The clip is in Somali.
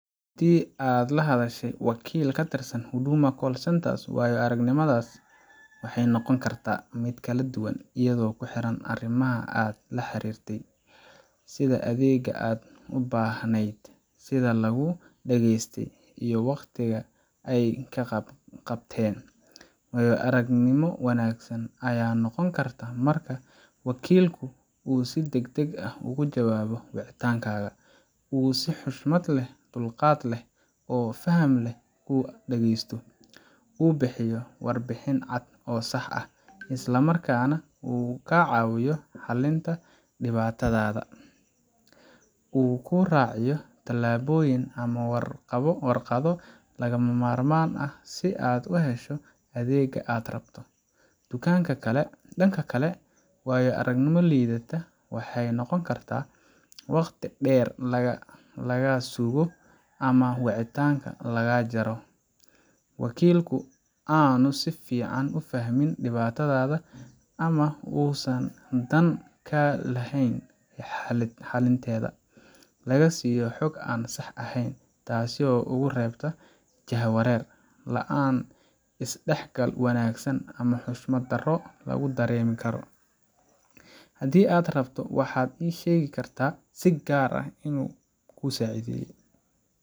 Haddii aad la hadashay wakiil ka tirsan Huduma Call Centre, waayo aragnimadaas waxay noqon kartaa mid kala duwan iyadoo ku xiran arrimaha aad la xiriirtay, sida adeegga aad u baahnayd, sida laguu dhageystay, iyo waqtiga ay kaa qabteen. Waayo aragnimo wanaagsan ayaa noqon karta marka: Wakiilku uu si degdeg ah uga jawaabo wicitaankaaga. Uu si xushmad leh, dulqaad leh, oo faham leh kuu dhageysto. Uu bixiyo warbixin cad oo sax ah, isla markaana uu kaa caawiyo xallinta dhibaatadaada. Uu kuu raaciyo tallaabooyin ama warqado lagama maarmaan ah si aad u hesho adeegga aad rabto. Dhanka kale, waayo aragnimo liidata waxay noqon kartaa haddii: Waqti dheer lagaa sugo ama wicitaanka lagaa jaro. Wakiilku aanu si fiican u fahmin dhibaatadaada, ama uusan dan ka lahayn xalinteeda. Lagaa siiyo xog aan sax ahayn, taasoo kugu reebta jahawareer. La’aan isdhexgal wanaagsan ama xushmad darro lagu dareemo hadalka. Haddii aad rabto, waxaad ii sheegi kartaa si gaar ah inuu kuu sacideye.